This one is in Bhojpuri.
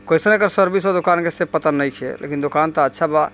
किस तरह का सर्विस दुकान से पता नहीं छे पर दुकान तो अच्छा बा।